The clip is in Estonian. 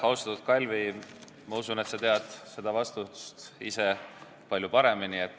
Austatud Kalvi, ma usun, et sa tead seda vastust ise väga hästi.